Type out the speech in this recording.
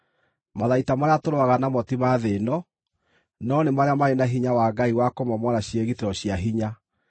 Matharaita marĩa tũrũaga namo ti ma thĩ ĩno, no nĩ marĩa marĩ na hinya wa Ngai wa kũmomora ciĩgitĩro cia hinya.